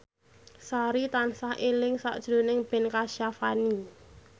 Sari tansah eling sakjroning Ben Kasyafani